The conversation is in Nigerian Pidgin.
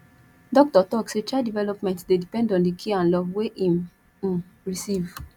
doctor tok sey child development dey depend on di care and love wey im um receive